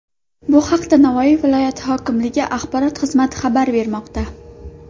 Bu haqda Navoiy viloyati hokimligi axborot xizmati xabar bermoqda .